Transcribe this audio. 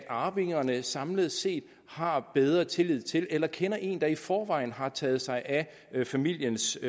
arvingerne samlet set har bedre tillid til eller kender en der i forvejen har taget sig af familiens